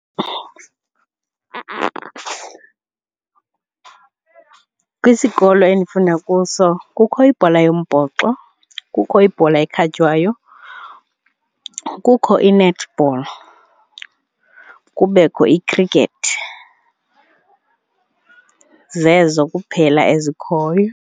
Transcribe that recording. Kwisikolo endifunda kuso kukho ibhola yombhoxo, kukho ibhola ekhatywayo, kukho i-netball, kubekho i-cricket. Zezo kuphela ezikhoyo.